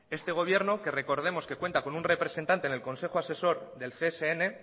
este gobierno que recordemos que cuenta con un representante en el consejo asesor del csn